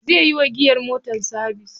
Zai yi wa giyar motar sabis.